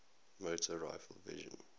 motor rifle division